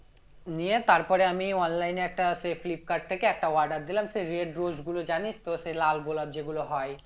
নিয়ে তারপরে আমি online এ একটা সেই ফ্লিপকার্ট থেকে একটা order দিলাম সেই red rose গুলো জানিস তো সে লাল গোলাপ যেগুলো হয়